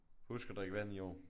Husk at drikke vand i år